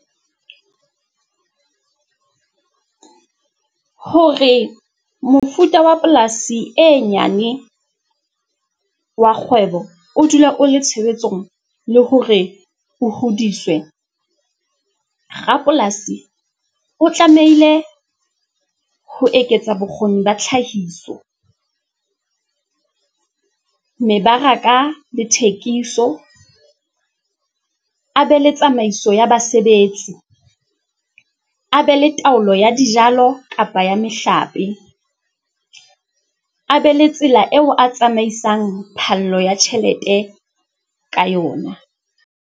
Hore mofuta wa polasi e nyane wa kgwebo o dula o le tshebetsong le hore o hodiswe, rapolasi o tlamehile ho eketsa bokgoni ba tlhahiso, mebaraka le thekiso, a be le tsamaiso ya basebetsi, a be le taolo ya dijalo kapa ya mehlape, a be le tsela eo a tsamaisang phallo ya tjhelete ka yona.